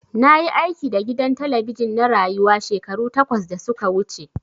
Na yi aiki da gidan talabijin na Rayuwa shekaru takwas da su ka wuce.